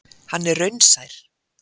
Hann er raunsær.